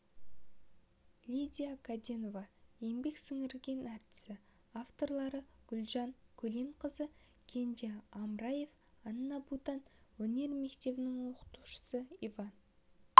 лидия кәденова еңбек сіңірген артисі авторлары гүлжан көленқызы кенже амраев анна бутман өнер мектебінің оқушысы иван